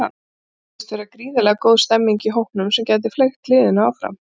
Svo virðist vera gríðarlega góð stemmning í hópnum sem gæti fleygt liðinu langt.